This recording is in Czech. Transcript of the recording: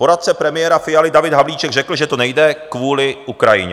Poradce premiéra Fialy David Havlíček řekl, že to nejde kvůli Ukrajině.